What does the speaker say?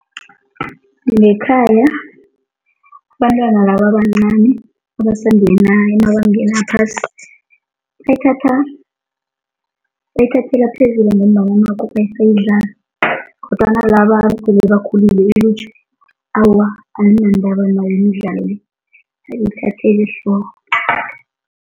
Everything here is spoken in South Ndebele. Ngekhaya, abantwana laba abancani abasangena emabangeni aphasi, bayithatha, bayithathela phezulu ngombana nakhu basayidlala kodwana sele bakhulile ilutjha, awa, ayinandaba nayo imidlalo le, ayiyithatheli ehloko.